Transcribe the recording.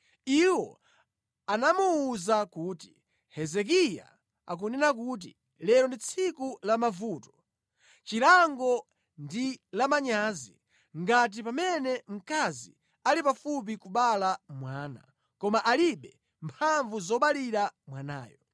Iwo anamuwuza kuti, “Hezekiya akunena kuti, ‘Lero ndi tsiku lamavuto, lachilango ndi lamanyazi. Ife lero tili ngati mayi woyembekezera amene pofika nthawi yoti achire akupezeka kuti alibe mphamvu zoberekera.